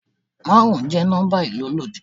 Márùn-ún jẹ́ nọ́mbà ìlólòdí.